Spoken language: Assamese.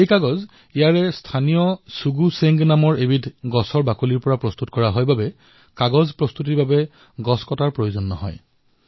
এই কাগজ ইয়াৰ স্থানীৰ শুগু শেংগ নামৰ এক উদ্ভিদৰ চালৰ পৰা প্ৰস্তুত কৰা হয় আৰু সেইবাবে এই কাগজ প্ৰস্তত কৰিবলৈ গোটেই বৃক্ষডাল কাটিবলগীয়া নহয়